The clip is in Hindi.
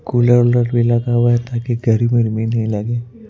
कूलर भी लगा हुआ है ताकि घरमी नहीं लगे ।